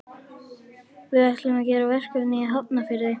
Við ætlum að gera verkefni í Hafnarfirði.